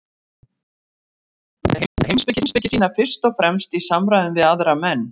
Hann stundaði heimspeki sína fyrst og fremst í samræðum við aðra menn.